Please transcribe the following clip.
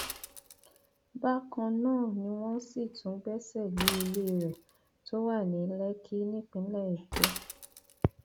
bákan náà ni wọn sì tún gbẹsẹ lé ilé rẹ tó wà ní lẹkì nípínlẹ èkó